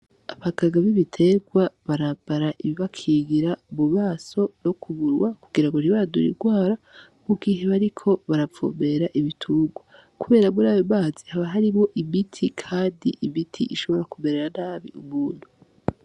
Apakagabi biterwa barabara ibibakigira ububaso ro kuburwa kugira ngo nribadura irwara mougihe bariko barapfobera ibiturwa, kubera buri ayo bazi haba hariwo imiti kadi ibiti ishobora kuberera nabi ubuntu.